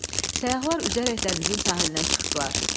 Səyyahlar üzərək dənizin sahilinə çıxdılar.